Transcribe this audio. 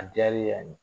A diyara n ye